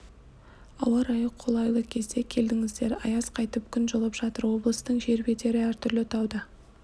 ауа-райы қолайы кезде келдіңіздер аяз қайтып күн жылып жатыр облыстың жер бедері әртүрлі тау да